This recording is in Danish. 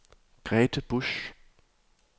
Grete Busch